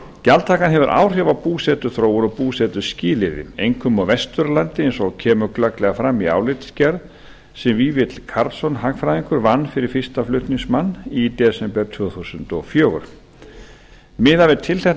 gjaldtakan hefur áhrif á búsetuþróun og búsetuskilyrði einkum á vesturlandi eins og kemur glögglega fram í álitsgerð sem vífill karlsson hagfræðingur vann fyrir fyrstu flutningsmann í desember tvö þúsund og fjögur miðað við tilteknar